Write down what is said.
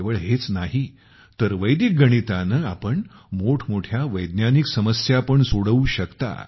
केवळ हेच नाही तर वैदिक गणिताने आपण मोठमोठ्या वैज्ञानिक समस्या पण सोडवू शकता